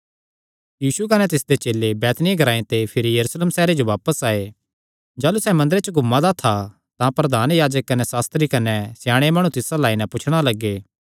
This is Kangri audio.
यीशु कने तिसदे चेले बैतनिय्याह ग्रांऐ ते भिरी यरूशलेम सैहरे जो बापस आये जाह़लू सैह़ मंदरे च घूमा दा था तां प्रधान याजक कने सास्त्री कने स्याणे माणु तिस अल्ल आई नैं पुछणा लग्गे